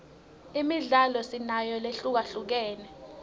imidlalo sinayo lehlukahlukene